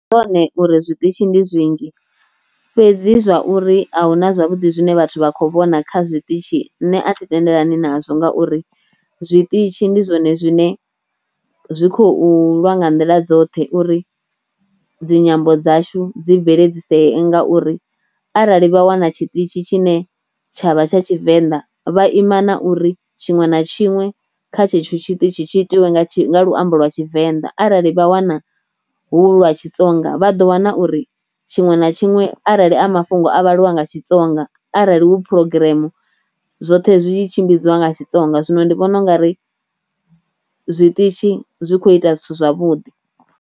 Ndi zwone uri zwiṱitshi ndi zwinzhi, fhedzi zwa uri a hu na zwavhuḓi zwine vhathu vha kho vhona kha zwiṱitshi nṋe a thi tendelani na zwo ngauri zwiṱitshi ndi zwone zwine zwi khou lwa nga nḓila dzoṱhe uri dzinyambo dzashu dzi bveledzisee ngauri arali vha wana tshiṱitzhi tshi ne tsha vha tsha tshivenḓa vha ima na uri tshiṅwe na tshiṅwe kha tshetsho tshiṱitzhi tshi itiwe nga luambo lwa tshivenḓa, arali vha wana hu lwa tshitsonga vha ḓo wana uri tshiṅwe na tshiṅwe arali a mafhungo a vhaliwa nga tshitsonga arali hu phurogireme zwoṱhe zwi tshimbidziwa nga tshitsonga zwino ndi vhona u nga ri zwiṱitshi zwi kho ita zwithu zwavhuḓi.